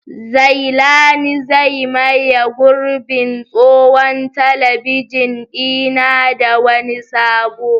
Zailani zai maye gurbin tsohon talabijin ɗina da wani sabo.